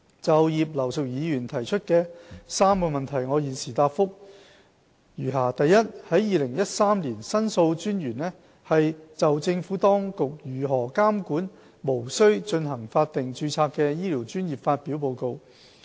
就葉劉淑儀議員所提出的3個質詢，我現答覆如下：一2013年，申訴專員就政府當局如何監管無須進行法定註冊的醫療專業發表報告。